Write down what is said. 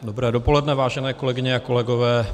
Dobré dopoledne, vážené kolegyně a kolegové.